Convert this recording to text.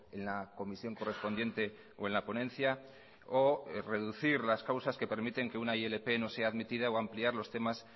en la comisión correspondiente o en la ponencia o reducir las causas que permiten que una ilp no sea admitida o ampliar los temas